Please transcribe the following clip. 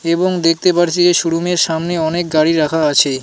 এবং দেখতে পারছি যে শোরুমের সামনে অনেক গাড়ি রাখা আছে .